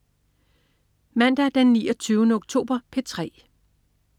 Mandag den 29. oktober - P3: